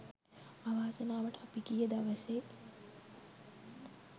අවාසනාවට අපි ගිය දවසේ